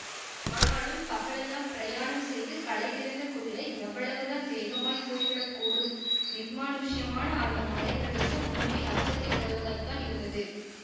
ஆனாலும் பகலெல்லாம் பிரயாணம் செய்து களைத்திருந்த குதிரை எவ்வளவுதான் வேகமாய்ப் போய் விட கூடும் நிர்மானுஷ்யமான அந்த மலை பிரதேசம் உண்மையில் அச்சத்தைத் தருவதாய்த்தான் இருந்தது